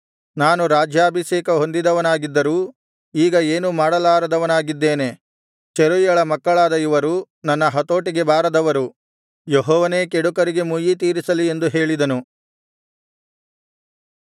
ನಾನು ರಾಜ್ಯಾಭಿಷೇಕ ಹೊಂದಿದವನಾಗಿದ್ದರೂ ಈಗ ಏನೂ ಮಾಡಲಾರದವನಾಗಿದ್ದೇನೆ ಚೆರೂಯಳ ಮಕ್ಕಳಾದ ಇವರು ನನ್ನ ಹತೋಟಿಗೆ ಬಾರದವರು ಯೆಹೋವನೇ ಕೆಡುಕರಿಗೆ ಮುಯ್ಯಿ ತೀರಿಸಲಿ ಎಂದು ಹೇಳಿದನು